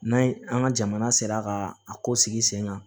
N'a ye an ka jamana sera ka a ko sigi sen kan